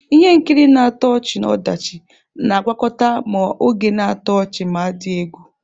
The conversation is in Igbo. Ihe nkiri na-atọ ọchị-ọdachi na-agwakọta ma oge na-atọ ọchị ma dị egwu.